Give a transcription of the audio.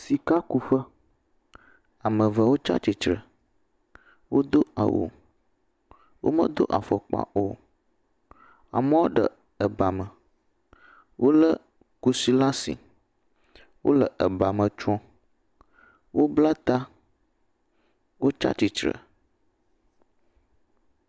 Sikakuƒe. Ame eve wotsa tsi tre. Wodo awu. Womedo afɔkpa o. Amewo ɖe ebame. Wolé kusi laa si. Wole ebame tsrom. Wobla ta. Wotsa tsi tre